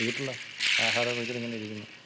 വീട്ടിലാ. ആഹാരം ഒക്കെ കഴിച്ചിട്ട് ഇങ്ങന ഇരിക്ക്ന്ന്.